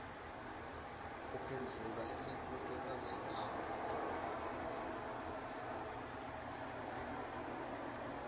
uphendvula imibuto lelandezelako